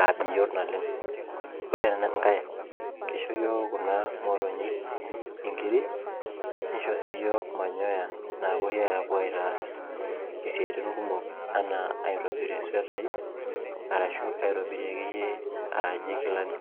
aa bioto oleng pre enkae kisho yiook kuna motonyi nkirik nisho si yiok manyoya napuoi aitaas siatin kumok anaaaitobirie sweatai ashu akeyie aajo kilani.